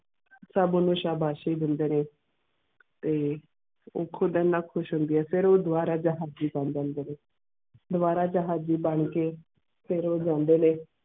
ਸਬ ਓਨੁ ਸ਼ਾਬਾਸ਼ੀ ਦੇਂਦੇ ਨੇ ਤੇ ਉਹ ਖੁਦ ਐਨਾ ਖੁਸ਼ ਹੋਂਦੀ ਹੈ ਫਿਰ ਉੱਗ ਦੁਵਾ ਰਾਜਾ ਹਾਫਕੀ ਕਰ ਜਾਂਦੇ ਨੇ ਦੁਵਾ ਰਾਜਾ ਹਾਜੀ ਬਾਣੀ ਕੇ ਫਿਰ ਉਹ ਜਾਂਦੇ ਨੇ.